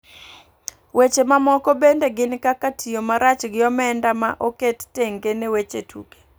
Weche mamoko bende gin kaka tiyo marach gi omenda ma oket tenge ne weche tuke .